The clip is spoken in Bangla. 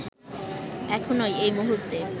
এখনই, এই মুহূর্তে